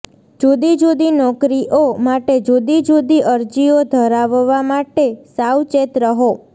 જુદી જુદી નોકરીઓ માટે જુદી જુદી અરજીઓ ધરાવવા માટે સાવચેત રહો